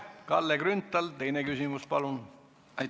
Kalle Grünthal, teine küsimus, palun!